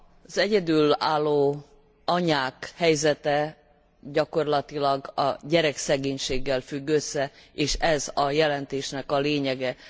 Az egyedülálló anyák helyzete gyakorlatilag a gyerekszegénységgel függ össze, és ez a jelentésnek a lényege.